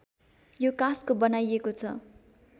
यो काँसको बनाइएको छ